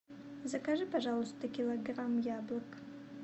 закажи пожалуйста килограмм яблок